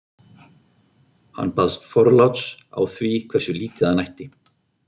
Hann baðst forláts á því hversu lítið hann ætti.